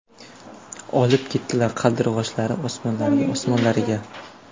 Olib ketdilar Qaldirg‘ochlari Osmonlariga, Osmonlariga.